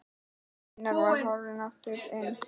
Gunnar var horfinn aftur inn.